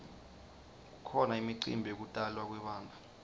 kukhona imicimbi yekutalwa kwebantfu